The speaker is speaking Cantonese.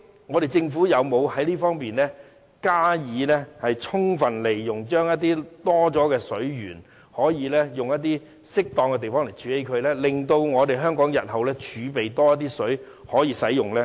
我們的政府究竟有否在這方面加以充分利用，在適當的地方處理剩餘的水源，令香港日後儲備更多食水可供使用？